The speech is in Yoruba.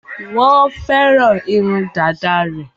Wọ́n fẹ́ràn irun dàda rẹ̀.